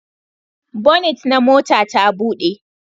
Bonit na mota ta buɗe